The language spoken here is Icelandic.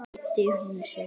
Meiddi hún sig?